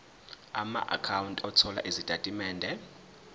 amaakhawunti othola izitatimende